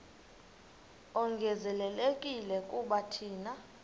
ongezelelekileyo kuba thina